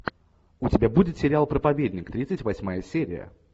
у тебя будет сериал проповедник тридцать восьмая серия